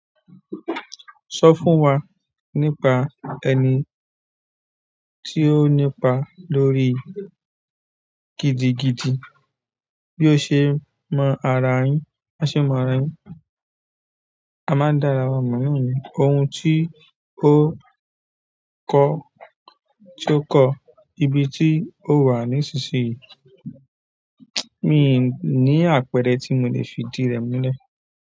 Sọ fún wa nípa ẹni tí ó nípa lórí gidigidi bí ó ṣe mọ ara yín, bó ṣe mọ ara yín. A máa dára mọ̀ ní ohun tí ó kọ́ tí ó kọ́, ibi tí ó wà nísinsìnyí. Mi ò ní àpẹẹrẹ tí mo lè fi idi rẹ̀ mulẹ̀.